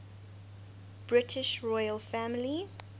british royal family